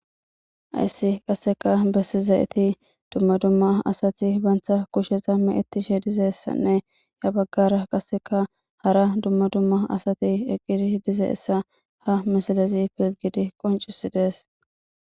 ayssi qasseka bessi zayeti dumma dumma asati bantha kushesa me ettishe dizeessanne ya baggara qasseka hara dumma dumma asati eqqidi dize essa ha misalezi pilgidi qoncisi dees.